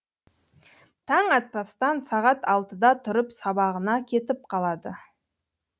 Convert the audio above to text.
таң атпастан сағат алтыда тұрып сабағына кетіп қалады